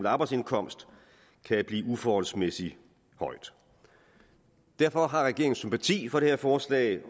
arbejdsindkomst kan blive uforholdsmæssig høj derfor har regeringen sympati for det her forslag